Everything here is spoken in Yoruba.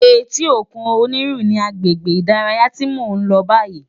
Éti ókún Oniru ni àgbégbé idàráyá ti mó n lò bàyí